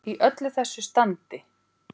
Í öllu þessu standi.